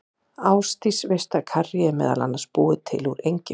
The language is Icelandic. Ásdís, veistu að karrí er meðal annars búið til úr engifer?